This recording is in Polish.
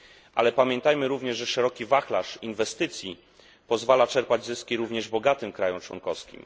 Ale pamiętajmy również, że szeroki wachlarz inwestycji pozwala czerpać zyski również bogatym państwom członkowskim.